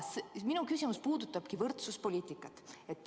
Minu küsimus puudutabki võrdsuspoliitikat.